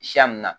Siyan nin na